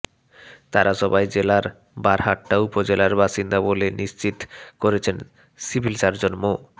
তারা সবাই জেলার বারহাট্টা উপজেলার বাসিন্দা বলে নিশ্চিত করেছেন সিভিল সার্জন মো